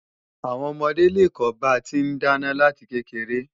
Àwọn ọmọdé lè kọ́ ba ti ń dáná láti kékeré